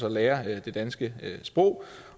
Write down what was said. og lære det danske sprog